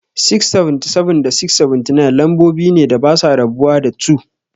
677 da 679, lambobi ne da basa rabuwa da 2.